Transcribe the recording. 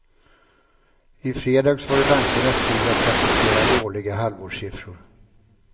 I fredags var det bankernas tur att rapportera dåliga halvårssiffror.